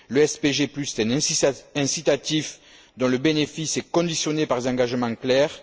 Le SPG est un incitatif dont le bénéfice est conditionné par des engagements clairs.